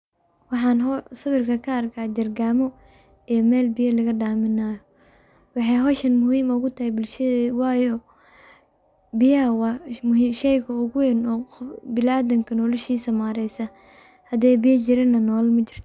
Wxan sawirk a kaarka jargamo ee mel biya lagadamin nayo, wxay hoshan muhim ogu teh bulshadeyda wayo biyaha wa sheyga ogu wen binaadamka noloshisa mareysa haday biya jirinnah nolol majirto.